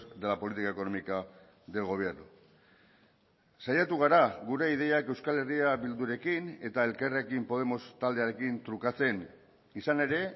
de la política económica del gobierno saiatu gara gure ideiak euskal herria bildurekin eta elkarrekin podemos taldearekin trukatzen izan ere